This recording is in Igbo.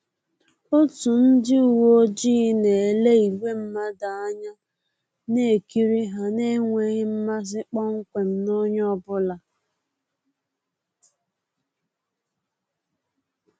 Otu ndị uweojii na-ele ìgwè mmadụ anya, na-ekiri ha n’enweghị mmasi kpọmkwem na onye ọ bụla